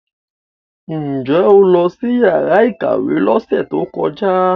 Ǹ jẹ́ o lọ sí yàrá ìkàwé lọ́sẹ̀ tó kọjá?